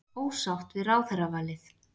Ósátt við ráðherravalið